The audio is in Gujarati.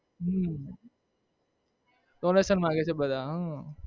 હમ donation માંગે છે બધા હ